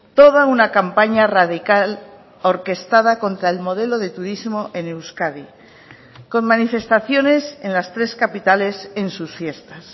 toda una campaña radical orquestada contra el modelo de turismo en euskadi con manifestaciones en las tres capitales en sus fiestas